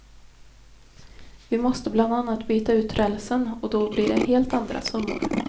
Vi måste bland annat byta ut rälsen och då blir det helt andra summor.